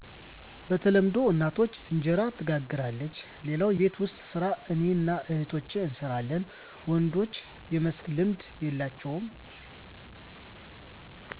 በተለምዶ እናታችን እንጀራ ትጋግራለች ሌላውን የቤት ውስጥ ሰራ እኔና እህቶቸ እንሰራለን ወንዶች የመስራት ልምድ የላቸውም